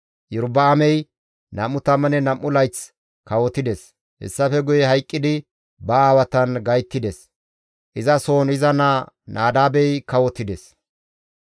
Iyorba7aamey 22 layth kawotides; hessafe guye hayqqidi ba aawatan gayttides. Izasohon iza naa Nadaabey kawotides.